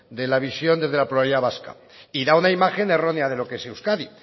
de la visión desde la pluralidad vasca y da una imagen errónea de lo que es euskadi